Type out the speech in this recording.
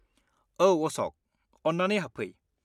औ अश'क, अन्नानै हाबफै।